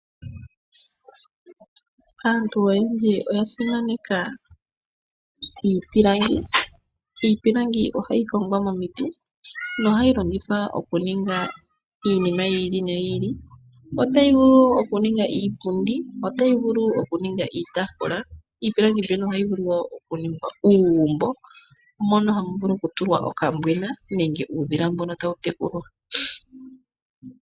Aantu oyendji oya simaneka iipilangi, iipilangi ohayi hongwa momiti nohayi longithwa okuninga iinima yili niyi ili, ohayi vulu okuninga iipundi niitaafula oshowoo uugumbo mono hamu vulu okutulwa okambwena nenge uudhila mbono tawu tekulwa.